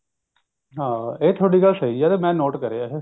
ਹਾਂ ਇਹ ਗੱਲ ਤਾਂ ਮੈਂ ਤੁਹਾਡੀ ਨੋਟ ਕਰਿਆ ਇਹ